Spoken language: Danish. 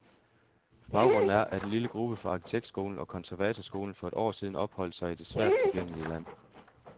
Baggrunden er, at en lille gruppe fra arkitektskolen og konservatorskolen for et år siden opholdt sig i det svært tilgængelige land.